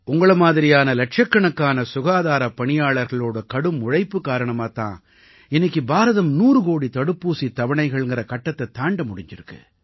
உங்களை மாதிரியான இலட்சக்கணக்கான சுகாதாரப் பணியாளர்களோட கடும் உழைப்பு காரணமாத் தான் இன்னைக்கு பாரதம் 100 கோடி தடுப்பூசித் தவணைகள்ங்கற கட்டத்தைத் தாண்ட முடிஞ்சிருக்கு